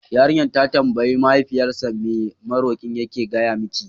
Yarinyar ta tambayi Mahaifiyarsa, me maroƙi yake gaya miki?